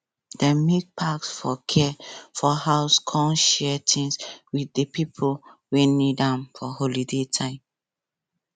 dem make pack for care for house come share things with di pipo wey need am for holiday time